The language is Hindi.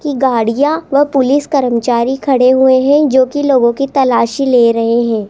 की गाड़ियां व पुलिस कर्मचारी खड़े हुए हैं जो कि लोगों की तलाशी ले रहे हैं।